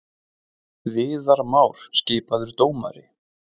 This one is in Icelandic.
Viðar Már skipaður dómari